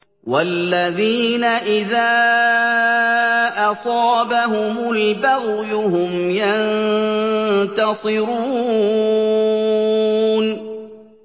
وَالَّذِينَ إِذَا أَصَابَهُمُ الْبَغْيُ هُمْ يَنتَصِرُونَ